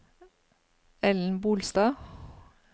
Ellen Bolstad